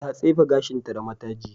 Ta tsefe gashinta da mataji.